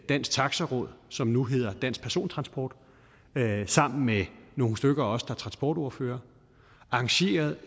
dansk taxi råd som nu hedder dansk persontransport sammen med nogle stykker af os der er transportordførere arrangerede